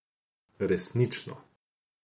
Resnično.